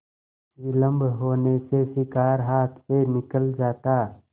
विलम्ब होने से शिकार हाथ से निकल जाता